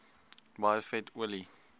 baie vet olie